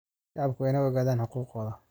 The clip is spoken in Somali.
Shacabku waa inay ogaadaan xuquuqdooda.